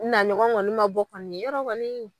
Naɲɔgɔn kɔni ma bɔ kɔni yarɔ kɔni